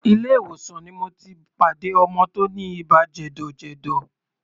Ilé ìwòsàn ni mo ti pàdé ọmọ tí ó ní ibà jẹ̀dọ̀jẹ̀dọ̀.